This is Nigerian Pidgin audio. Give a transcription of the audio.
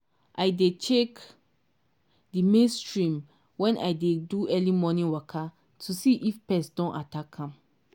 i dey check di maize stem wen i dey do early morning waka to see if pest don attack am.